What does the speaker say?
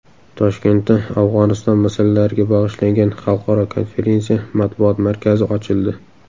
Toshkentda Afg‘oniston masalalariga bag‘ishlangan xalqaro konferensiya matbuot markazi ochildi.